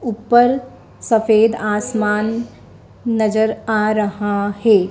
ऊपर सफ़ेद आसमान नज़र आ रहा है।